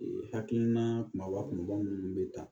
hakilina kumaba kumabaw minnu bɛ ta